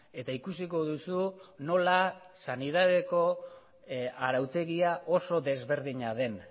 eta ikusiko duzu nola sanidadeko arautegia oso desberdina den